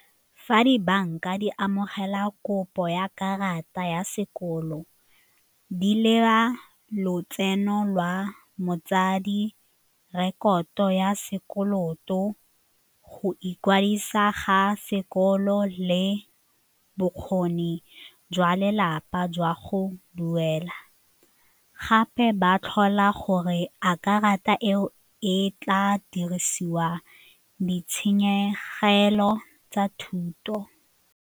Fa dibanka di amogela kopo ya karata ya sekolo di leba lotseno lwa motsadi, rekoto ya sekoloto, go ikwadisa ga sekolo le bokgoni jwa lelapa jwa go duela gape ba tlhola gore a karata eo e tla dirisiwa ditshenyegelo tsa thuto.